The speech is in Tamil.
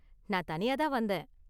நான் தனியா தான் வந்தேன்.